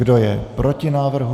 Kdo je proti návrhu?